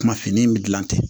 Kuma fini in bɛ dilan ten